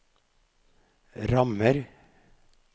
rammer